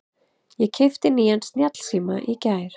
Ég keypti nýjan snjallsíma í gær.